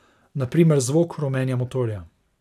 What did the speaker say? Na primer zvok hrumenja motorja.